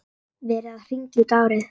Verið að hringja út árið.